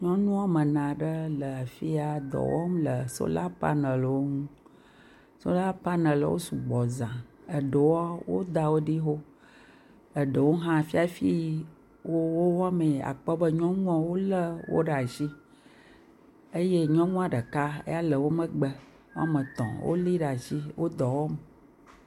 Nyɔnu woame ene aɖewo le dɔ wɔm le sola panelwo ŋu, sola panelwo wo sugbɔ za, eɖewoa, woda wo ɖi xoxo, eɖewo hã, fi hafi wo wowɔmee yi, àkpɔ be nyɔnua wolé wo ɖe asi, eye nyɔnua ɖeka eya le wo megbe, woame etɔ̃ wolé ɖe asi, wo dɔ wɔm